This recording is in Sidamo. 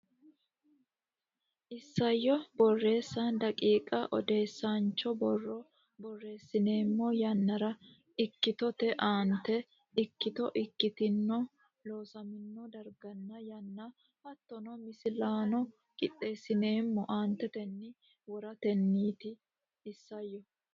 Isayyo Borreessa daqiiqa Odeesaancho borro borreessineemmo yannara ikkitote aante ikkito ikkitino Looseemmo darganna yanna hattono misilaano qixxeessineemmo aantetenni woratenniiti Isayyo.